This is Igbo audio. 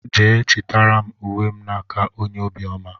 Jee chitara m ùwé m na-nke ónyé obiọma!!!!